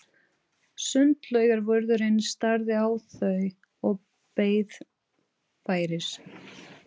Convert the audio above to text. Sundlaugarvörðurinn starði á þau og beið færis.